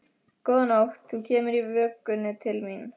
Góða nótt, þú kemur í vökunni til mín.